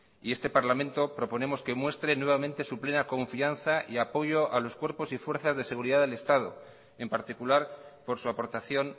y este parlamento proponemos que muestre nuevamente su plena confianza y apoyo a los cuerpos y fuerzas de seguridad del estado en particular por su aportación